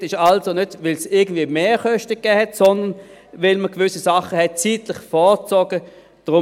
Dieser Zusatzkredit ist also nicht, weil es irgendwie Mehrkosten gab, sondern weil man gewisse Dinge zeitlich vorgezogen hat.